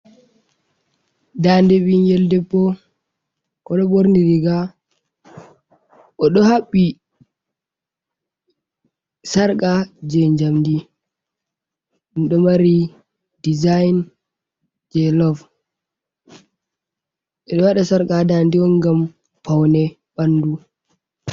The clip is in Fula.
Daande ɓinngel debbo, o ɗo ɓorni riiga, o ɗo haɓɓi sarka jey njamndi, ɗo mari dizayin jey lov. Ɓe ɗo waɗa sarka haa daande on, ngam pawne ɓanndu.